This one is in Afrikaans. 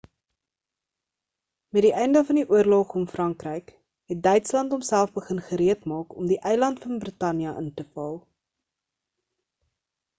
met die einde van die oorlog om frankryk het duitsland homself begin gereed maak om die eiland van brittanje in te val